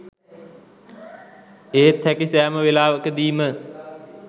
ඒත් හැකි සෑම වෙලාවකදීම